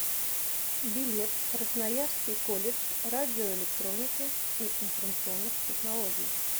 билет красноярский колледж радиоэлектроники и информационных технологий